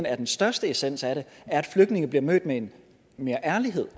er den største essens af det er at flygtninge bliver mødt med mere ærlighed